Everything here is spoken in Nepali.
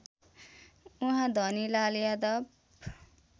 उहाँ धनीलाल यादव